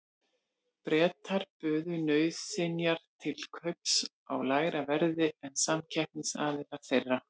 Bretar buðu nauðsynjar til kaups á lægra verði en samkeppnisaðilar þeirra.